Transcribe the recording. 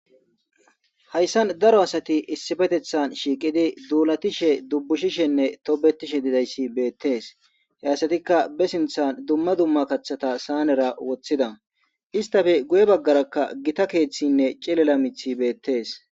hayssan daro asati issifetethan shiiqidi duulatishe dubbushishenne tobetishe didayssi beettes heyasatikka be sinthan dumma dumma kaththata saanera woththida istafe guye baggarakka gita keeththinne cilela mithi beettees